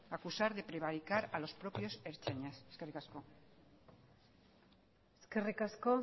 acusar de prevaricar a los propios ertzainas eskerrik asko eskerrik asko